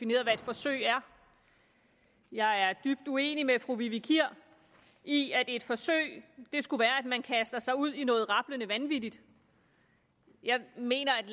forsøg er jeg er dybt uenig med fru vivi kier i at et forsøg skulle være at man kaster sig ud i noget rablende vanvittigt jeg mener at